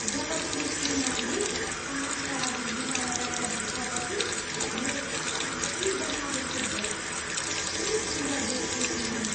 जब मेरी श्रीमतीले पार्टीका लागि लुगा लगाएर भित्र पसिन्, मेरो त सासै जालाजस्तो भयो। कति सुन्दर देखिएकी उनी!